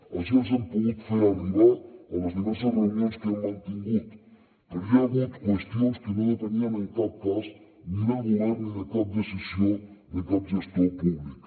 així els ho hem pogut fer arribar a les diverses reunions que hem mantingut però hi ha hagut qüestions que no depenien en cap cas ni del govern ni de cap decisió de cap gestor públic